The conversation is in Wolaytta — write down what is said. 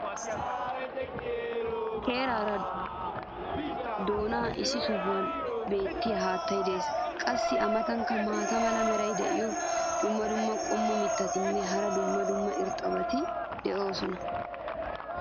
keraa doonan issi sohuwan beetiya haattay des. qassi a matankka maata mala meray diyo dumma dumma qommo mitattinne hara dumma dumma irxxabati de'oosona.